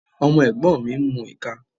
Ọmọ ẹ̀gbọ́n mi ń mu ìka.